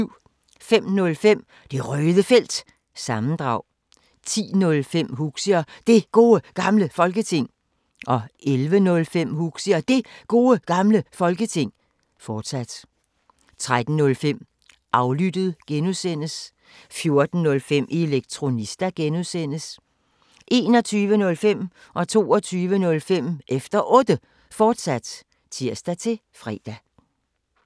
05:05: Det Røde Felt – sammendrag 10:05: Huxi og Det Gode Gamle Folketing 11:05: Huxi og Det Gode Gamle Folketing, fortsat 13:05: Aflyttet G) 14:05: Elektronista (G) 21:05: Efter Otte, fortsat (tir-fre) 22:05: Efter Otte, fortsat (tir-fre)